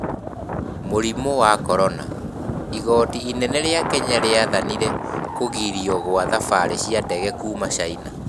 Mũrimũ wa Korona: Igoti inene rĩa Kenya rĩathanire kũgirio kwa thabari cia ndege kuuma China